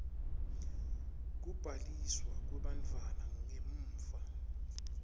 kubhaliswa kwebantfwana ngemuva